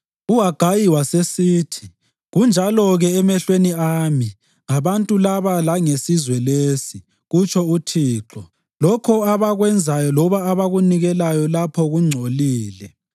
UHagayi wasesithi, “ ‘Kunjalo-ke emehlweni ami ngabantu laba langesizwe lesi,’ kutsho uThixo. ‘Lokho abakwenzayo loba abakunikelayo lapho kungcolile.